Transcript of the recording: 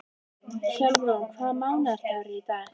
Hjálmrún, hvaða mánaðardagur er í dag?